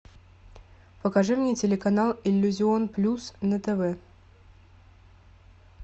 покажи мне телеканал иллюзион плюс на тв